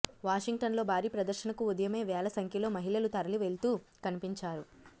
వాషింగ్టన్లో భారీ ప్రదర్శనకు ఉదయమే వేల సంఖ్యలో మహిళలు తరలివెళ్తూ కనిపించారు